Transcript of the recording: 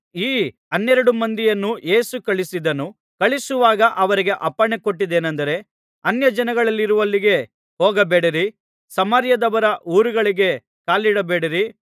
ಈ ಹನ್ನೆರಡು ಮಂದಿಯನ್ನು ಯೇಸು ಕಳುಹಿಸಿದನು ಕಳುಹಿಸುವಾಗ ಅವರಿಗೆ ಅಪ್ಪಣೆ ಕೊಟ್ಟದ್ದೇನಂದರೆ ಅನ್ಯಜನಗಳಿರುವಲ್ಲಿಗೆ ಹೋಗಬೇಡಿರಿ ಸಮಾರ್ಯದವರ ಊರೊಳಗೆ ಕಾಲಿಡಬೇಡಿರಿ